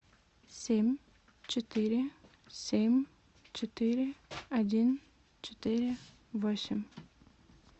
семь четыре семь четыре один четыре восемь